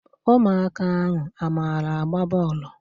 Ụmụaka ahụ a mara agba bọọlụ?